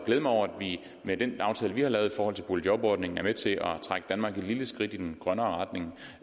glæde mig over at vi med den aftale vi har lavet i forhold til boligjobordningen er med til at trække danmark et lille skridt i en grønnere retning